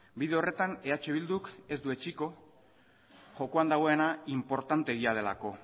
bide horretan eh bilduk ez du etsiko jokoan dagoena inportanteegia delako